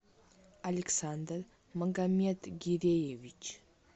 александр магомед гиреевич